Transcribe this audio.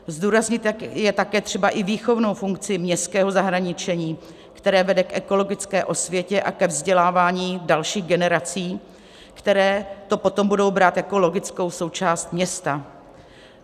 Zdůraznit je také třeba i výchovnou funkci městského zahradničení, které vede k ekologické osvětě a ke vzdělávání dalších generací, které to potom budou brát jako logickou součást města.